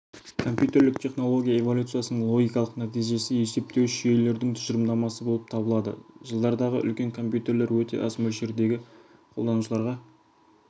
компьютерлік технология эволюциясының логикалық нәтижесі есептеуіш жүйелердің тұжырымдамасы болып табылады жылдардағы үлкен компьютерлер өте аз мөлшердегі қолданушыларға